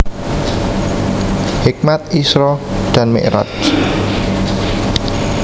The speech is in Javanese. Hikmat Isra dan Mikraj